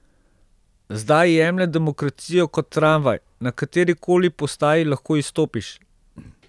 Zdaj jemlje demokracijo kot tramvaj, na katerikoli postaji lahko izstopiš.